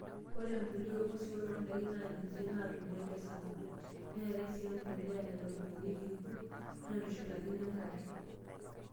Ore embulia oong'wesi wenoondaikin naaninje natumoi tesapuko. Neatae sii embulia naitobirunyieki irkurt wenaitushulakini enkare.